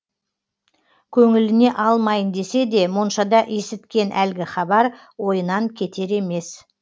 көңіліне алмайын десе де моншада есіткен әлгі хабар ойынан кетер емес